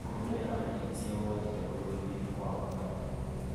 kũrũmĩrĩra ndarĩrĩ cia ũgwati ta ruo rũingĩ nĩ gwa bata.